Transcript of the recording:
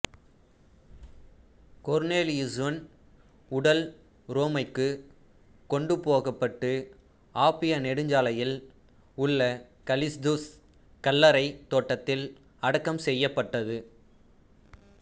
கொர்னேலியுசுன் உடல் உரோமைக்குக் கொண்டுபோகப்பட்டு ஆப்பியா நெடுஞ்சாலையில் உள்ள கலிஸ்துஸ் கல்லறைத் தோட்டத்தில் அடக்கம் செய்யப்பட்டது